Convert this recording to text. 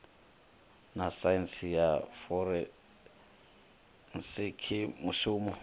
na saintsi ya forensikhi mushumi